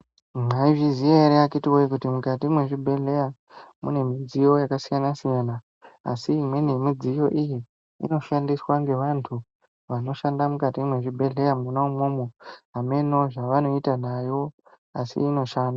Mwaizviziyawo atete wo kuti mukati mezvibhedlera mune midziyo takasiyana siyana asi imwe ne imwe yemidziyo iyi inoshandiswa ngevantu vemukati mezvibhedhlera imwomwomu hameno zvavanoita nayo asi inoshanda